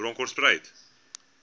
bronkhortspruit